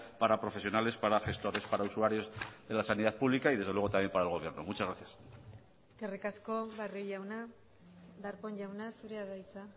para profesionales para gestores para usuarios de la sanidad pública y desde luego también para el gobierno muchas gracias eskerrik asko barrio jauna darpón jauna zurea da hitza